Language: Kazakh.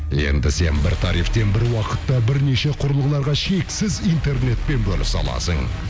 енді сен бір тарифтен бір уақытта бірнеше құрылғыларға шексіз интернетпен бөлісе аласың